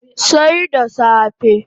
Sai da safe